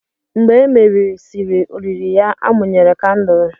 Mgbe e mesịrị olili ya, a mụnyere kandụl.